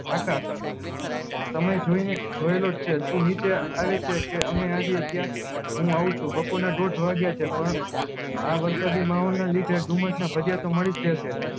આકાશ સમય જોયી ને જોયેલોજ છે તું નીચે આવે છે કે અમે આવ્યીયે ત્યાં હું આવ છું બપોર ના દોઠ વાગ્યા છે પણ આ વરસાદી માહોલ ના લીધે આ ભજીયા તો મળી જ ગયા છે